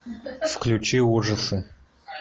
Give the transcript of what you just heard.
включи ужасы